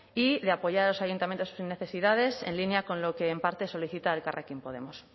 y de apoyar a los ayuntamientos necesidades en línea con lo que en parte solicita elkarrekin podemos